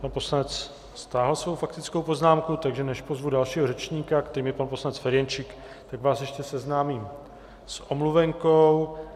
Pan poslanec stáhl svou faktickou poznámku, takže než pozvu dalšího řečníka, kterým je pan poslanec Ferjenčík, tak vás ještě seznámím s omluvenkou.